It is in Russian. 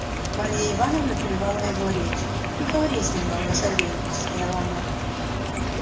марья ивановна перервала его речь не говори с ним много савельич сказала она